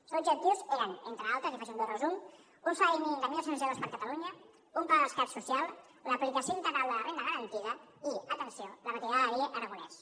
els seus objectius eren entre altres i en faig un breu resum un salari mínim de mil dos cents euros per a catalunya un pla de rescat social l’aplicació integral de la renda garantida i atenció la retirada de la llei aragonès